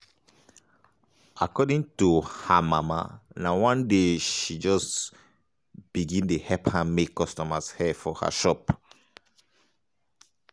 according to her mama na one day she um just begin dey help her make customers dia hair for her shop. um